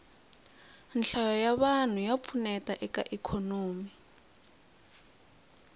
nhlayo ya vanhu ya pfuneta eka ikhonomi